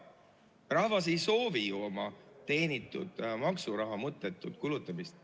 Rahvas ei soovi ju oma teenitud maksuraha mõttetut kulutamist.